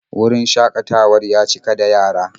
Wurin shakatawar ya cika da yara.